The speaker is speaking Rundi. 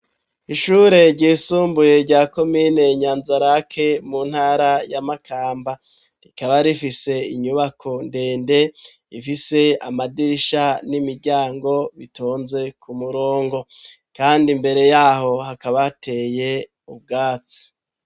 Ishure ryisumbuye rya komine nyanza rake mu ntara y'amakamba rikaba rifise inyubako ndende ifise amadirisha n'imiryango bitonze ku murongo kandi mbere yaho hakaba ateye ubwatsi.